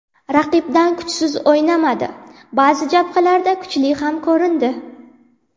Raqibdan kuchsiz o‘ynamadi, ba’zi jabhalarda kuchli ham ko‘rindi.